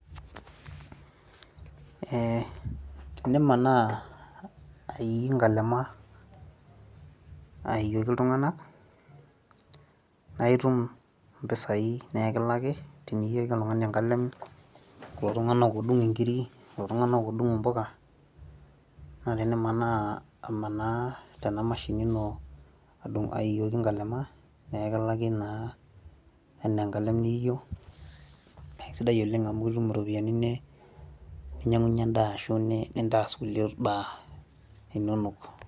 ee tenimanaa aii inkalema aioki iltungana, naaitum impisai naa ekilaki, tenioki oltungani enkalem, kulo tunganak oodung inkiri, kulo tungana oodung impuka. naa tenimanaa amanaa tena mashini ino aioki nkalema. naa ekilaki naa anaa enkalem niio, naa kisidai oleng amu itum iropiyiani ninyiang'unye edaa ashu nintaas kulie baa inonok.